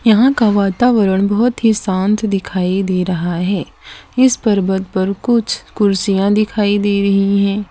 यहां का वातावरण बहोत ही शांत दिखाई दे रहा है इस पर्वत पर कुछ कुर्सियां दिखाई दे रही हैं।